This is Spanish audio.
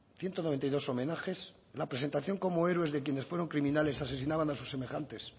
ciento noventa y dos homenajes la presentación como héroes de quienes fueron criminales asesinaban a sus semejantes